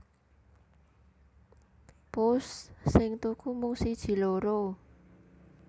Pusss sing tuku mung siji loro